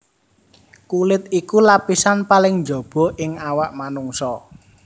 Kulit iku lapisan paling njaba ing awak manungsa